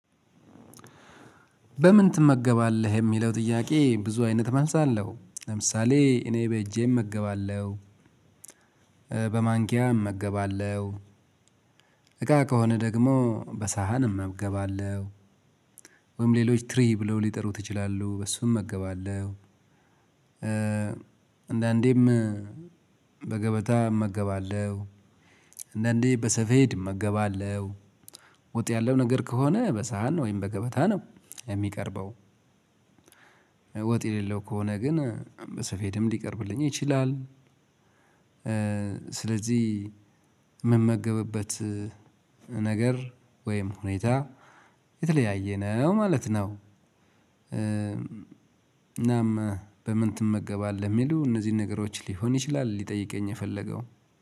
በምን ትመገባለህ የሚለው ጥያቄ ብዙ አይነት መልስ አለው። ለምሳሌ እኔ በእጄ እመገባለሁ። በማንኪያ እመገባለሁ፣ እቃ ከሆነ ደግሞ በሳህን እመገባለሁ፣ ወይም ሌሎች ትሪ ብለው ሊጥሩት ይችላሉ በእሱም እመገባለሁ፣ እንደአንዴም በገበታ እመገባለሁ፣ እንዳንዴ በሰፌድ እመገባለሁ፣ ወጥ ያለው ነገር ከሆነ በሳህን ወይም በገበታ ነው የሚቀርበው። ወጥ የሌለው ከሆነ ግን በስፌድም ሊቀርብልኝ ይችላል፣ ስለዚህ ምመገብበት ነገር ወይም ሁኔታ የተለያየ ነው ማለት ነው። እናም በምን ትመገባለህ የሚሉ እነዚህን ነገሮች ሊሆን ይችላል ሊጠይቀኝ የፈለገው።